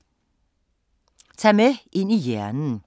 Tag med ind i hjernen